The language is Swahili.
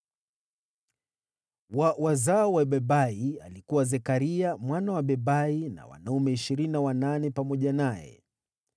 wa wazao wa Bebai, alikuwa Zekaria mwana wa Bebai na wanaume 28 pamoja naye;